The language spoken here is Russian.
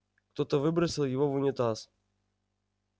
кто-то выбросил его в унитаз